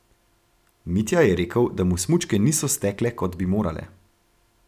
Mitja je rekel, da mu smučke niso stekle, kot bi morale.